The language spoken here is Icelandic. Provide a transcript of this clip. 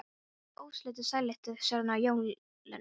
Búin að vera óslitin sælutíð síðan á jólunum.